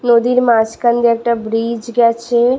নদীর মাঝখান দিয়ে দিয়ে একটা ব্রিজ গেছে।